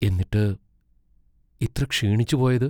എന്നിട്ട് ഇത്ര ക്ഷീണിച്ചുപോയത്?